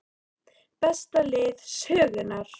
Besta lið sögunnar???